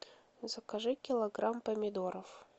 закажи килограмм помидоров